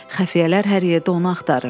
Xəfiyyələr hər yerdə onu axtarır.